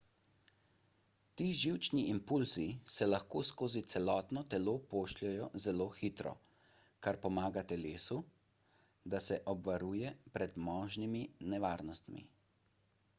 ti živčni impulzi se lahko skozi celotno telo pošljejo zelo hitro kar pomaga telesu da se obvaruje pred možnimi nevarnostmi